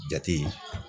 Jate